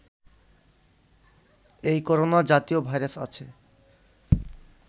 এই করোনা জাতীয় ভাইরাস আছে